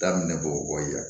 Daminɛ bɔgɔ bɔ yen